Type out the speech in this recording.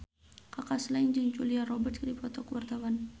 Kaka Slank jeung Julia Robert keur dipoto ku wartawan